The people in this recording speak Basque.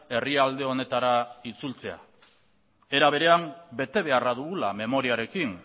herrialde honetara itzultzea era berean betebeharra dugula memoriarekin